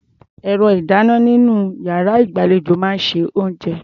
Ẹ̀rọ-ìdáná-oníná nínú iyàrá ìgbàlejò máa ń se oúnjẹ.